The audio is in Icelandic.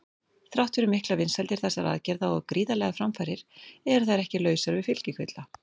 Þrátt fyrir miklar vinsældir þessara aðgerða og gríðarlegar framfarir eru þær ekki lausar við fylgikvilla.